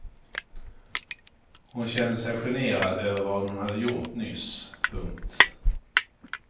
Hon kände sig generad över vad hon hade gjort nyss. punkt